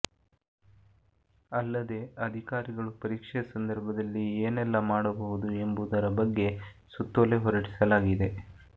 ಅಲ್ಲದೇ ಅಧಿಕಾರಿಗಳು ಪರೀಕ್ಷೆ ಸಂದರ್ಭದಲ್ಲಿ ಏನೆಲ್ಲ ಮಾಡಬಹುದು ಎಂಬುವುದರ ಬಗ್ಗೆ ಸುತ್ತೋಲೆ ಹೊರಡಿಸಲಾಗಿದೆ